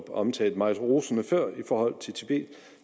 omtalte meget rosende før i forhold til tibet